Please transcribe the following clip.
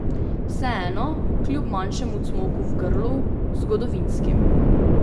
Vseeno, kljub manjšemu cmoku v grlu, zgodovinskim.